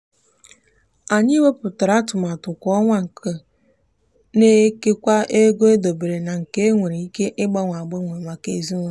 anyị wepuatara atụmatụ kwa ọnwa nke na-ekewa ego edobere na nke e nwere ike ịgbanwe agbanwe maka ezinụụlọ.